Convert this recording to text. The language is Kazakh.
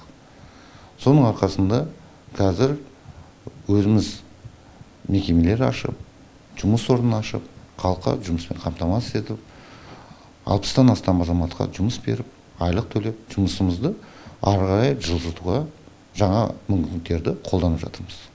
соның арқасында қазір өзіміз мекемелер ашып жұмыс орнын ашып халыққа жұмыспен қамтамасыз етіп алпыстан астам азаматқа жұмыс беріп айлық төлеп жұмысымызды ары қарай жылжытуға жаңа мүмкіндіктерді қолданып жатырмыз